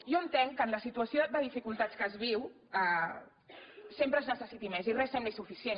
jo entenc que en la situació de dificultats que es viu sempre es necessiti més i res sembli suficient